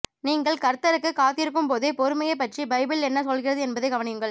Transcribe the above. நீங்கள் கர்த்தருக்குக் காத்திருக்கும்போதே பொறுமையைப் பற்றி பைபிள் என்ன சொல்கிறது என்பதை கவனியுங்கள்